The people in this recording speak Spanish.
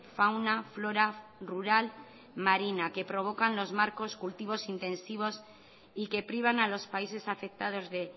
fauna flora rural marina que provocan los marcos cultivos intensivos y que privan a los países afectados de